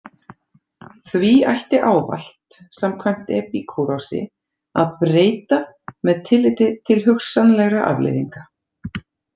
Því ætti ávallt, samkvæmt Epíkúrosi, að breyta með tilliti til hugsanlegra afleiðinga.